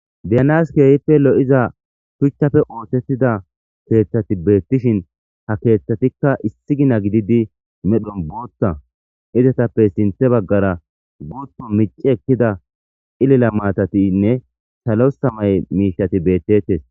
diyanaske ehippe lo7iza shuchchafe ootettida keeththati beettishin ha keeththatikka issi gina gididi medhon boothta izatappey sinthe baggara booto mici ekkida ilila maatatinne salosamay miishati beettettes